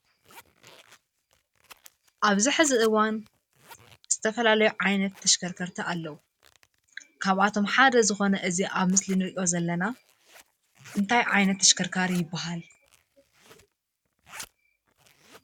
ኣብዚ ሕዚ እዋን ዝተፈላለዩ ዓይነት ተሽከርከርቲ ኣለዉ፡፡ ካብኣቶም ሓደ ዝኾነ እዚ ኣብዚ ምስሊ ንሪኦ ዘለና እንታይ ዓይነት ተሽከርካሪ ይበሃል?